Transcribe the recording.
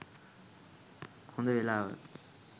හොඳ වෙලාව.